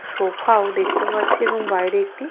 sofa ও দেখতে পাচ্ছি এবং বাইরে একটি--